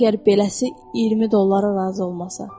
əgər beləsi 20 dollara razı olmasa.